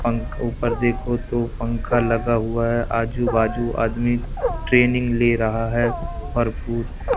पंख ऊपर देखो तो पंखा लगा हुआ हैं आजू बाजू आदमी ट्रेनिंग ले रहा हैं और फु--